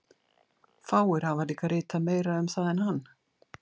Fáir hafa líka ritað meira um það en hann.